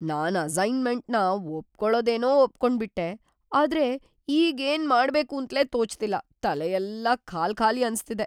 ನಾನ್ ಅಸೈನ್ಮೆಂಟ್‌ನ ಒಪ್ಕೊಳೋದೇನೋ ಒಪ್ಕೊಂಡ್ಬಿಟ್ಟೆ, ಆದ್ರೆ ಈಗ್‌ ಏನ್‌ ಮಾಡ್ಬೇಕೂಂತ್ಲೇ ತೋಚ್ತಿಲ್ಲ, ತಲೆಯೆಲ್ಲ ಖಾಲ್ಖಾಲಿ ಅನ್ಸ್ತಿದೆ.